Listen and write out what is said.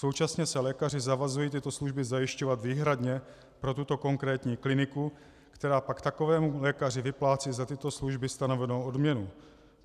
Současně se lékaři zavazují tyto služby zajišťovat výhradně pro tuto konkrétní kliniku, která pak takovému lékaři vyplácí za tato služby stanovenou odměnu.